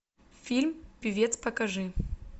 фильм певец покажи